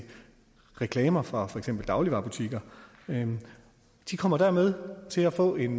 reklamer fra for eksempel dagligvarebutikker de kommer dermed til at få en